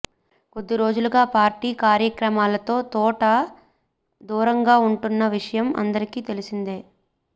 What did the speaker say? కొద్ది రోజులుగా పార్టీ కార్యక్రమాలతో తోట దూరంగా ఉంటున్న విషయం అందరికీ తెలిసిందే